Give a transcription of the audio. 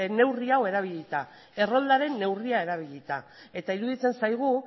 neurri hau erabilita erroldaren neurria erabilita eta iruditzen zaigu